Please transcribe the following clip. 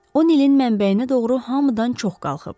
O, Nilin mənbəyinə doğru hamıdan çox qalxıb.